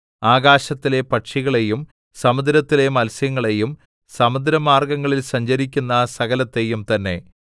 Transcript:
ആകാശത്തിലെ പക്ഷികളെയും സമുദ്രത്തിലെ മത്സ്യങ്ങളെയും സമുദ്രമാർഗ്ഗങ്ങളിൽ സഞ്ചരിക്കുന്ന സകലത്തെയും തന്നെ